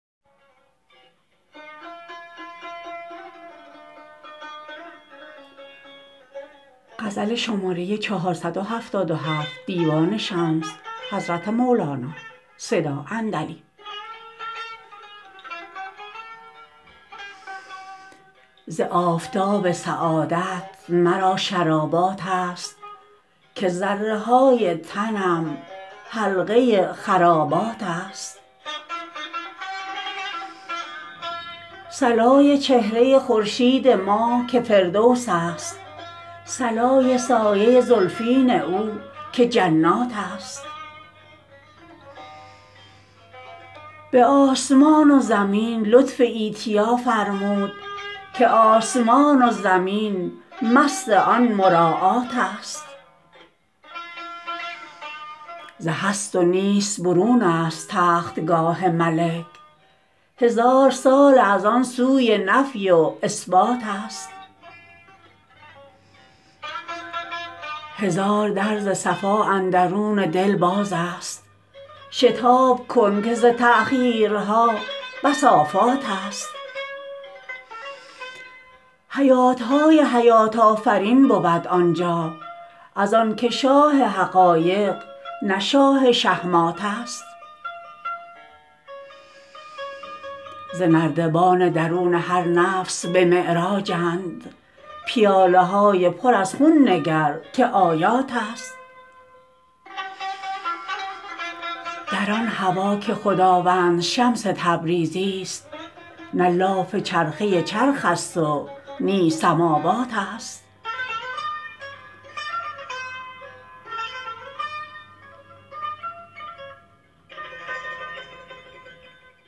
ز آفتاب سعادت مرا شراباتست که ذره های تنم حلقه خراباتست صلای چهره خورشید ما که فردوسست صلای سایه زلفین او که جناتست به آسمان و زمین لطف ایتیا فرمود که آسمان و زمین مست آن مراعاتست ز هست و نیست برون ست تختگاه ملک هزار ساله از آن سوی نفی و اثباتست هزار در ز صفا اندرون دل بازست شتاب کن که ز تأخیرها بس آفاتست حیات های حیات آفرین بود آن جا از آنک شاه حقایق نه شاه شهماتست ز نردبان درون هر نفس به معراجند پیاله های پر از خون نگر که آیاتست در آن هوا که خداوند شمس تبریزیست نه لاف چرخه چرخ ست و نی سماواتست